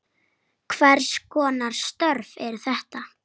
Hvers konar störf eru þetta?